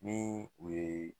Nin u ye